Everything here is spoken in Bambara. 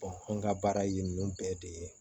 an ka baara yen ninnu bɛɛ de ye